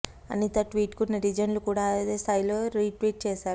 అనిత ట్వీట్కు నెటిజన్లు కూడా అదే స్థాయిలో రీ ట్వీట్ చేశారు